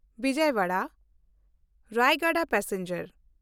ᱵᱤᱡᱚᱭᱚᱣᱟᱲᱟ–ᱨᱟᱭᱜᱟᱲ passenger